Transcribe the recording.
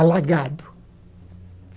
Alagado.